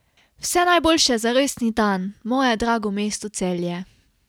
Vse najboljše za rojstni dan, moje drago mesto Celje.